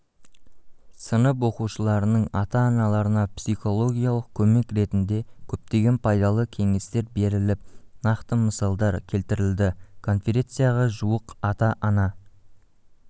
сынып оқушыларының ата-аналарына психологиялық көмек ретінде көптеген пайдалы кеңестер беріліп нақты мысалдар келтірілді конференцияға жуық ата-ана